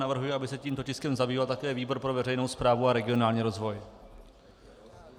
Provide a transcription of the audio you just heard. Navrhuji, aby se tímto tiskem zabýval také výbor pro veřejnou správu a regionální rozvoj.